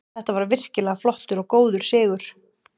Þetta var virkilega flottur og góður sigur.